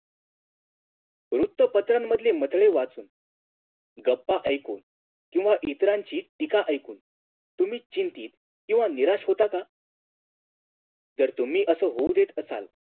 वृत्तपत्रांमधले मथळे वाचून गप्पा ऐकून किव्हा इतरांची टीका ऐकून तुम्ही चिंतीत किव्हा निराश होता का जर तुम्ही आसा होऊ देत असाल